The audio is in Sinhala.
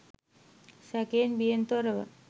සැකයෙන් බියෙන් තොරව